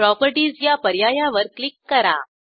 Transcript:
properties या पर्यायावर click करा